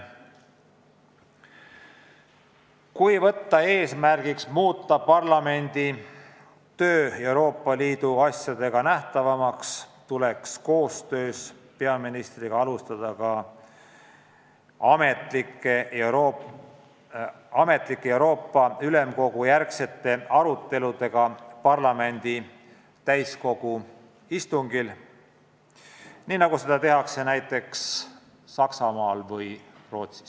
Kui võtta eesmärgiks muuta parlamendi töö Euroopa Liidu asjadega nähtavamaks, tuleks koostöös peaministriga alustada ametlikke Euroopa Ülemkogu istungite järgseid arutelusid parlamendi täiskogu istungitel, nagu seda tehakse näiteks Saksamaal või Rootsis.